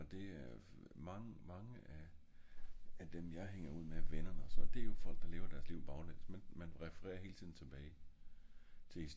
og det er øh mange mange af af dem jeg hænger ud med venner og sådan det er jo folk der lever deres liv baglæns men men man refererer hele tiden tilbage